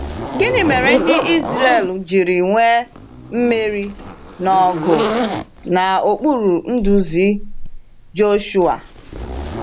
Gịnị mere ndị Ịzrel jiri nwee mmeri na ọgụ n’okpuru nduzi Joshuwa?